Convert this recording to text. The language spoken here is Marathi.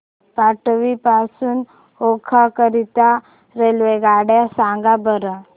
मांडवी पासून ओखा करीता रेल्वेगाड्या सांगा बरं